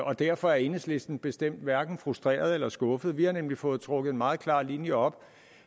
og derfor er enhedslisten bestemt hverken frustreret eller skuffet vi har nemlig fået trukket en meget klar linje op